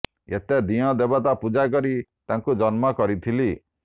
ଏତେ ଦିଅଁ ଦେବତା ପୂଜା କରି ତାକୁ ଜନ୍ମ କରିଥିଲି